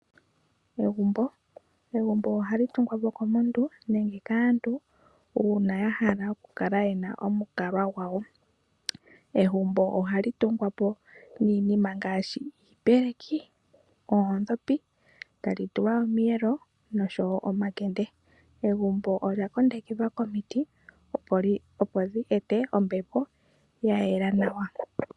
Egumbo Egumbo ohali tungwa po komuntu nenge kaantu, uuna ya hala oku kala yena omalukalwa gawo. Egumbo ohali tungwa po niina ngaashi iipeleki, oondhopi, tali tulwa omiyelo noshowo omakende. Egumbo olya kondekelwa komiti, opo dhi e te ombepo ya yela nawa.